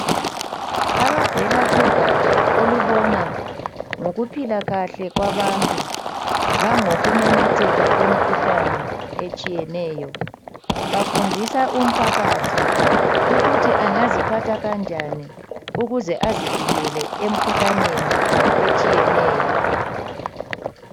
Abavela kugatsha olubona ngokuphilakahle kwabantu langokumemetheka kwemikhuhlane etshiyeneyo bafundisa umphakathi ukuthi angziphatha kanjani ukuze azivikele emkhuhlaneni etshiyeneyo.